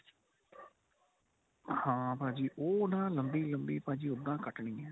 ਹਾਂ ਭਾਜੀ ਉਹ ਨਾਂ ਲੰਬੀ ਲੰਬੀ ਭਾਜੀ ਉੱਦਾਂ ਕੱਟਣੀ ਏ